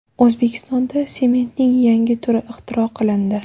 O‘zbekistonda sementning yangi turi ixtiro qilindi.